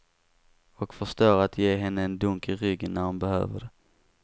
Och förstår att ge henne en dunk i ryggen när hon behöver det.